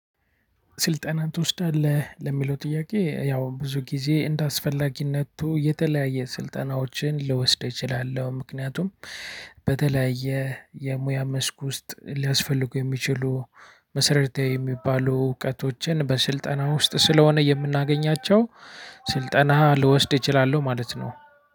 ስልጠና ትወስዳለህ ለሚለው ጥያቄ ያው ብዙ ጊዜ እንደአስፈላጊነቱ የተለያየ ስልጠናዎችን ልወስደው እችላለሁ። ምክንያቱም በተለያየ የሙያ መስክ ውስጥ ሊያስፈልጉ የሚችሉ መሰረታዊ የሚባሉ እውቀቶችን በስልጠና ውስጥ ስለሆነ የምናገኛቸው። ስልጠና ልወስድ እችላለሁ ማለት ነው።